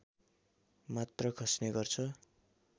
मात्र खस्ने गर्छ